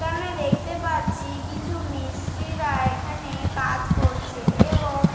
এখানে দেখতে পাচ্ছি কিছু মিস্ত্রিরা এখানে কাজ করছে এবং--